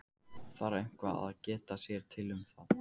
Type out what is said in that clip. Þarf eitthvað að geta sér til um það?